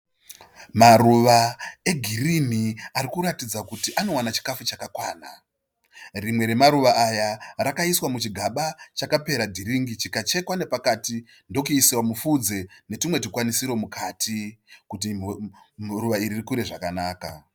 Maruva egirini ari kuratidza kuti anowana chikafu chakakwana. Rimwe ramaruva aya rakaiswa muchigaba chakapera dhiringi chikachekwa nepakati ndokuiswa mufudze netumwe tukwanisiro mukati kuti ruva iri rikure zvakanaka.